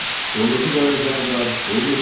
Pulunuzu qoyun cənablar, pulunuzu qoyun!